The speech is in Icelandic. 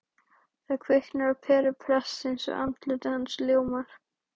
Það kviknar á peru prestsins og andlit hans ljómar